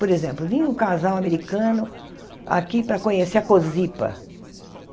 Por exemplo, vinha um casal americano aqui para conhecer a Cosipa.